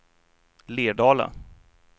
Lerdala